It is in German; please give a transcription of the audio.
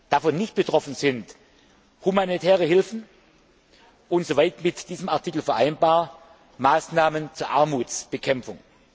Davon nicht betroffen sind die humanitäre Hilfe und sofern mit diesem Artikel vereinbar Maßnahmen zur Armutsbekämpfung.